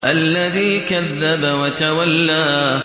الَّذِي كَذَّبَ وَتَوَلَّىٰ